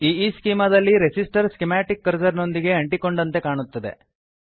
ಈಸ್ಚೆಮಾ ದಲ್ಲಿ resistor schematic cursor ನೊಂದಿಗೆ ಅಂಟಿಕೊಂಡಂತೆ ಕಾಣುತ್ತದೆ